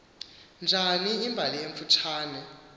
njani imbali emfutshane